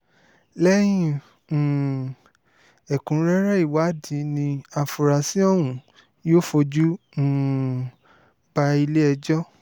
lẹ́yìn um ẹ̀kúnrẹ́rẹ́ ìwádìí ni àfúráṣí ọ̀hún yóò fojú um bá ilé-ẹjọ́